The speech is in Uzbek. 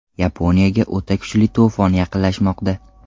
Yaponiyaga o‘ta kuchli to‘fon yaqinlashmoqda.